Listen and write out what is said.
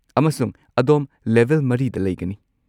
ꯑꯃꯁꯨꯡ ꯑꯗꯣꯝ ꯂꯦꯚꯦꯜ ꯴ꯗ ꯂꯩꯒꯅꯤ꯫